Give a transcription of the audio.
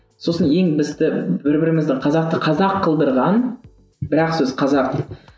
сосын ең бізді бір бірімізді қазақты қазақ қылдырған бір ақ сөз қазақ